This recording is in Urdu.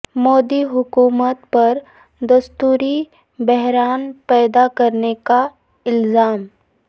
مودی حکومت پر دستوری بحران پیدا کرنے کا الزام